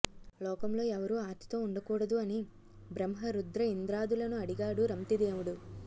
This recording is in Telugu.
లోకంలో ఎవరూ ఆర్తితో ఉండకూడదు అని బ్రహ్మరుద్రఇంద్రాదులను అడిగాడు రంతిదేవుడు